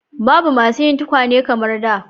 Babu masu yin tukwane yanzu kamar da.